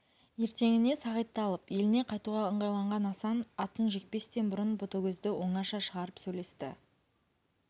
ертеңіне сағитты алып еліне қайтуға ыңғайланған асан атын жекпестен бұрын ботагөзді оңаша шығарып сөйлесті